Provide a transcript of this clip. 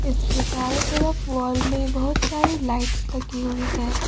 उसके चारों तरफ वाल में बहोत सारे लाइट्स लगे हुए है।